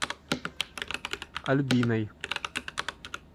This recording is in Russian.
альбиной